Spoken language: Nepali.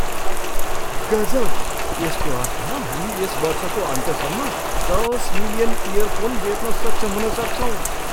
गजब! यसको अर्थ हामी यस वर्षको अन्त्यसम्म दस मिलियन इयरफोन बेच्न सक्षम हुन सक्छौँ!